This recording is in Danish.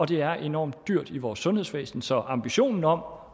det er enormt dyrt i vores sundhedsvæsen så ambitionen om